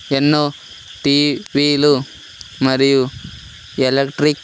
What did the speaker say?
ఎన్నో టి_వి లు మరియు ఎలెక్ట్రిక్ .